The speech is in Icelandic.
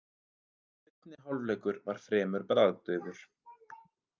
Seinni hálfleikur var fremur bragðdaufur.